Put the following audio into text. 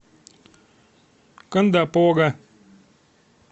кондопога